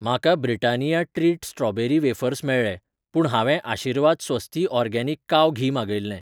म्हाका Britannia treat strawberry wafers मेळ्ळे पूण हांवें आशीर्वाद स्वस्ति ऑर्गॅनिक काव घी मागयिल्लें.